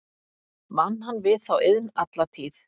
Vann hann við þá iðn alla tíð.